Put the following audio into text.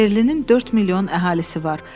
Berlinin 4 milyon əhalisi var.